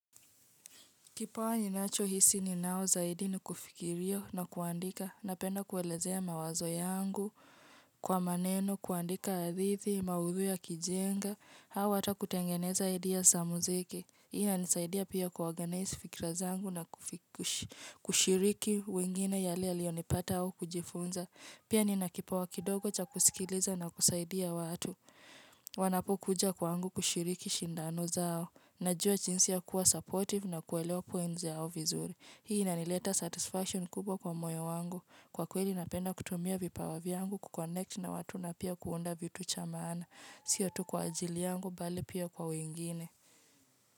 Kipawa ninachohisi ninao zaidi ni kufikiria na kuandika. Napenda kuelezea mawazo yangu kwa maneno, kuandika hadithi, maudhui yakijenga. Au hata kutengeneza idea za muziki. Hii inanisaidia pia kuorganize fikra zangu na kushiriki wengine yale yaliyonipata au kujifunza. Pia nina kipawa kidogo cha kusikiliza na kusaidia watu. Wanapokuja kwangu kushiriki shindano zao. Najua jinsi ya kuwa supportive na kuelewa points yao vizuri. Hii inanileta satisfaction kubwa kwa moyo wangu. Kwa kweli napenda kutumia vipawa vyangu kuconnect na watu na pia kuunda vitu cha maana. Sio tu kwa ajili yangu bali pia kwa wengine.